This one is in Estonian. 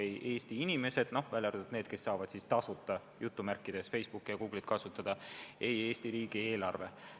Osa Eesti inimesi vaid saab "tasuta" Facebooki ja Google'it kasutada, aga Eesti riigieelarve sellest kasu ei saa.